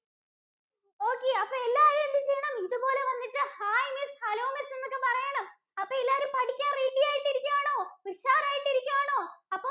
oOkay അപ്പോ എല്ലാവരും എന്ത് ചെയ്യണം? ഇതുപോലെ വന്നിട്ട് ഹായ് miss, hello miss എന്നൊക്കെ പറയണം. അപ്പോ എല്ലാരും പഠിക്കാൻ ready ആയിട്ട് ഇരിക്കുയാണോ? ഉഷാറായിട്ട് ഇരിക്കുയാണോ? അപ്പൊ